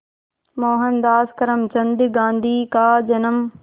मोहनदास करमचंद गांधी का जन्म